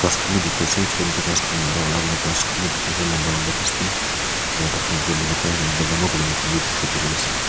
ghas khan bi dikhiase chutu moto ghas khan aro alak alak ghas khan bi dikhiase lamba lamba ghas bi dikhiwo parease.